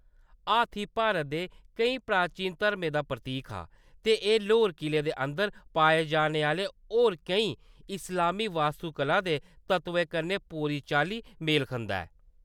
हाथी भारत दे केईं प्राचीन धर्में दा प्रतीक हा, ते एह्‌‌ लाहौर किले दे अंदर पाए जाने आह्‌‌‌ले होर केईं इस्लामी वास्तुकला दे तत्वें कन्नै पूरी चाल्ली मेल खंदा ऐ।